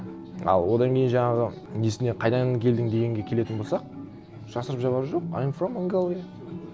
а одан кейін жаңағы несіне қайдан келдің дегенге келетін болсақ жасырып жабары жоқ ай эм фром монголия